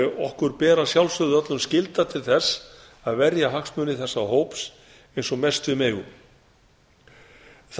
okkur ber að sjálfsögðu öllum skylda til þess að verja hagsmuni þessa hóps eins og mest við megum það